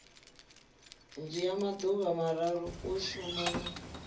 dzhia maḓuvha mararu u shumana